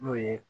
N'o ye